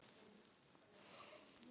Hann lætur sem hann heyri það ekki.